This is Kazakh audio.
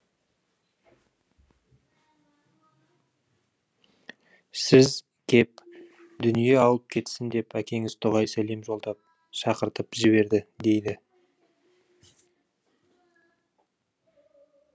сіз кеп дүние алып кетсін деп әкеңіз дұғай сәлем жолдап шақыртып жіберді дейді